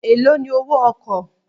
Èló ni owó ọkọ̀?